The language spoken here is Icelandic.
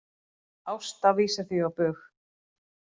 Ásta vísar því á bug